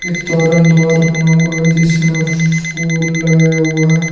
द्वार बना हुआ जिसमें फूल लगाया हुआ है।